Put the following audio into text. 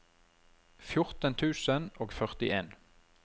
fjorten tusen og førtien